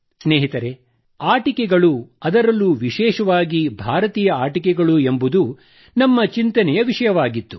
ಸ್ನೇಹಿತರೆ ಆಟಿಕೆಗಳು ಅದರಲ್ಲೂ ವಿಶೇಷವಾಗಿ ಭಾರತೀಯ ಆಟಿಕೆಗಳು ಎಂಬುದು ನಮ್ಮ ಚಿಂತನೆಯ ವಿಷಯವಾಗಿತ್ತು